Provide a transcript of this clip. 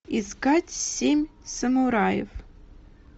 искать семь самураев